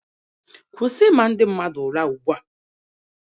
Kwụsị ịma ndị mmadụ ụra ugbua!